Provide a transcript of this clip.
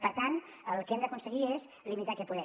per tant el que hem d’aconseguir és limitar aquest poder